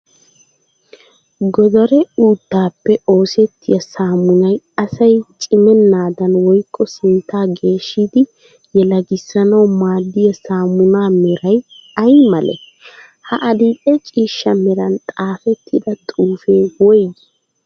Godaree uuttaappe oosettiya saamunay asay cimennaadan woykko sinttaa geeshshidi yelagissanawu maaddiya saammunaa meray ayi malee? Ha adil'e ciishsha meran xaafettida xuufee woyigii?